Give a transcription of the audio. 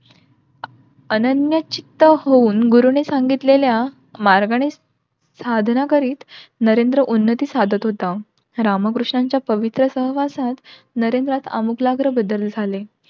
अनन्य होऊन गुरूने सांगितलेल्या मार्गाने साधना करीत नरेंद्र उन्नती साधत होता. रामकृष्णांच्या पवित्र सहवासात नरेंद्रात आमूलाग्र बदल झाले.